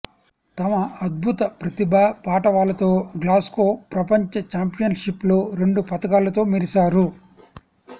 తమ అద్భుత ప్రతిభాపాటవాలతో గ్లాస్గో ప్రపంచ ఛాంపియన్షిప్లో రెండు పతకాలతో మెరిశారు